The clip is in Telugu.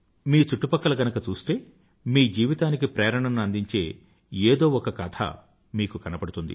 మీ చుట్టుపక్కల చూస్తే గనుక మీ జీవితానికి ప్రేరణను అందించే ఏదో ఒక కథ మీకు కనబడుతుంది